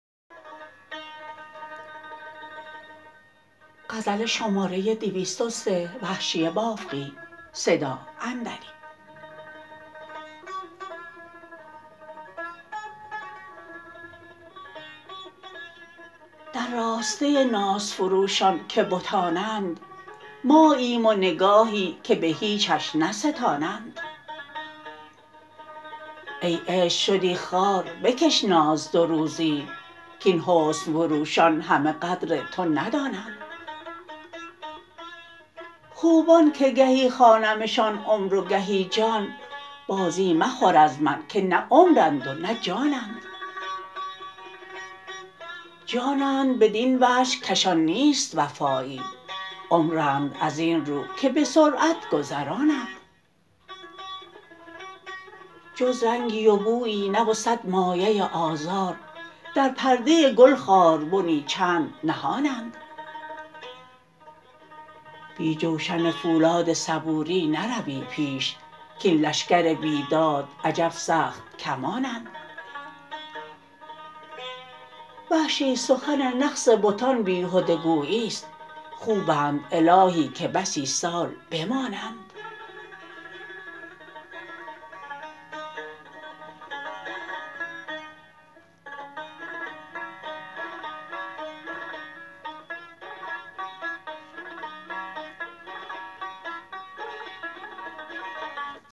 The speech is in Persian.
در راسته ناز فروشان که بتانند ماییم ونگاهی که به هیچش نستانند ای عشق شدی خوار بکش ناز دو روزی کاین حسن فروشان همه قدر توندانند خوبان که گهی خوانمشان عمر و گهی جان بازی مخور از من که نه عمرند و نه جانند جانند بدین وجه کشان نیست وفایی عمرند از این رو که به سرعت گذرانند جز رنگی و بویی نه و سد مایه آزار در پرده گل خار بنی چند نهانند بی جوشن فولاد صبوری نروی پیش کاین لشکر بیداد عجب سخت کمانند وحشی سخن نقص بتان بیهده گوییست خوبند الهی که بسی سال بمانند